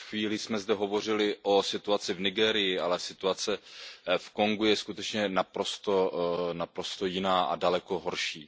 Před chvílí jsme zde hovořili o situaci v Nigérii, ale situace v Kongu je skutečně naprosto jiná a daleko horší.